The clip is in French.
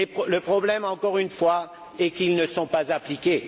Le problème, encore une fois, est qu'ils ne sont pas appliqués.